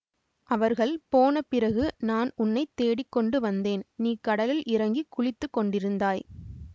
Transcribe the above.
அவர்கள் போன பிறகு நான் உன்னை தேடிக் கொண்டு வந்தேன் நீ கடலில் இறங்கி குளித்துக் கொண்டிருந்தாய்